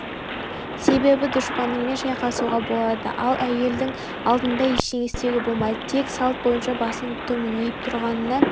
себебі дұшпаныңмен шайқасуға болады ал әйелдердің алдында ештеңе істеуге болмайды тек салт бойынша басыңды төмен иіп тұрғаннан